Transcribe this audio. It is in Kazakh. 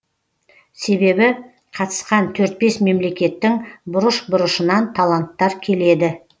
себебі қатысқан төрт бес мемлекеттің бұрыш бұрышынан таланттар келеді